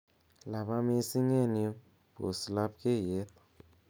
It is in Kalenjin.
laba missing en yu pos labkeiyet